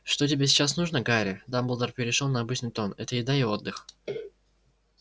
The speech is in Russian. что тебе сейчас нужно гарри дамблдор перешёл на обычный тон это еда и отдых